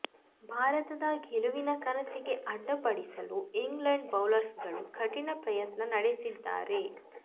ಭಾರತದ ಗೆಲುವಿನ ಕನಸಿಗೆ ಅಡ್ಡಿಪಡಿಸಲು ಇಂಗ್ಲೆಂಡ್ ಬೌಲರ್ಗಳು ಕಠಿಣ ಪ್ರಯತ್ನ ನಡೆಸಿದ್ದಾರೆ